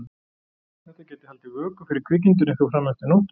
Þetta gæti haldið vöku fyrir kvikindinu eitthvað fram eftir nóttu.